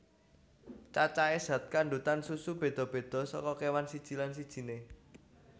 Cacahé zat kandhutan susu béda béda saka kéwan siji lan sijiné